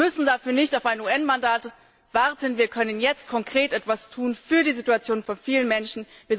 Wir müssen dafür nicht auf ein UN Mandat warten, wir können jetzt konkret etwas tun für die Situation vieler Menschen.